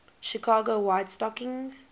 chicago white stockings